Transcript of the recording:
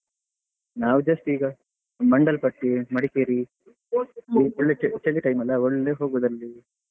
ನಾವು just ಈಗ Mandalpatti Madikeri ಚಳಿ ಚಳಿ time ಅಲ್ಲಾ ಒಳ್ಳೆ ಹೋಗುದು ಅಲ್ಲಿಗೆ.